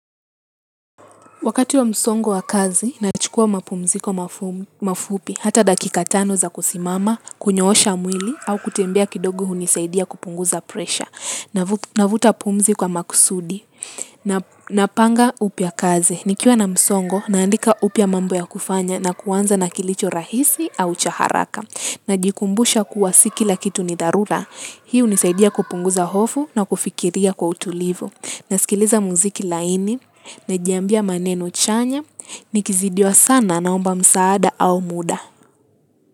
Wakati wa msongo wa kazi nachukua mapumziko mafupi hata dakika tano na kusimama kunyosha mwili au kutembea kidogo hunisaidia kupunguza presha. Navuta pumzi kwa makusudi, napanga upya kazi. Nikiwa na msongo, naandika upya mambo ya kufanya na kuanza na kilicho rahisi au cha haraka. Najikumbusha kuwa si kila kitu ni dharura. Hii hunisaidia kupunguza hofu na kufikiria kwa utulivu. Na sikiliza muziki laini, najambia maneno chanya, nikizidiwa sana naomba msaada au muda.